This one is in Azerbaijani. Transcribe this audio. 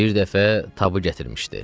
Bir dəfə tabı gətirmişdi.